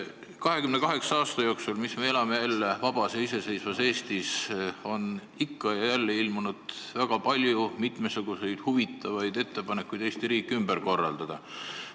28 aasta jooksul, kui me oleme jälle vabas ja iseseisvas Eestis elanud, on ikka ja jälle ilmunud väga palju mitmesuguseid huvitavaid ettepanekuid, kuidas Eesti riiki ümber korraldada.